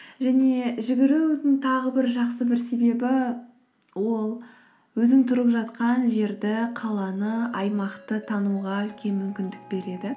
және жүгірудің тағы бір жақсы бір себебі ол өзің тұрып жатқан жерді қаланы аймақты тануға үлкен мүмкіндік береді